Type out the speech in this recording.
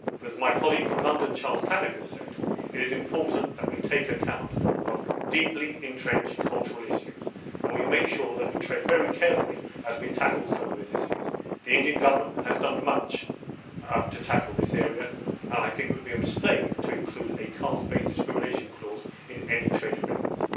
But as my colleague from London Charles Tannock has said, it is important that we take account of deeply entrenched cultural issues and we make sure that we tread very carefully as we tackle some of these issues. The Indian Government has done much to tackle this area and I think it would be a mistake to include a caste based discrimination clause in any trade agreements.